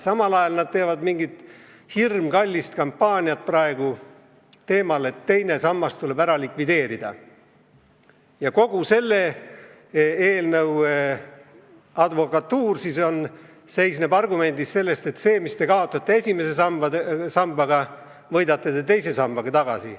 Samal ajal nad teevad praegu mingit hirmkallist kampaaniat teemal, et teine sammas tuleb ära likvideerida, ja kogu selle eelnõu kaitse on rajatud argumendile, et selle, mis te kaotate esimeses sambas, te võidate teise sambaga tagasi.